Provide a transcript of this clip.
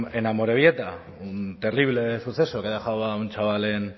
en amorebieta un terrible suceso que ha dejado a un chaval en